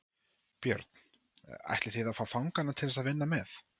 Björn: Ætlið þið að fá fanganna til þess að vinna með?